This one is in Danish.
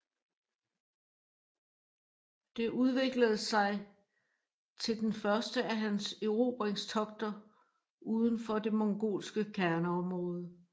Det udviklet sig til den første af hans erobringstogter uden for det mongolske kerneområdet